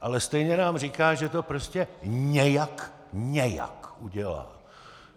Ale stejně nám říká, že to prostě nějak, nějak udělá.